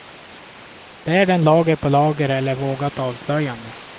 Bär den lager på lager, eller vågat avslöjande.